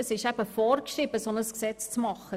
Es ist vorgeschrieben, so ein Gesetz zu erlassen.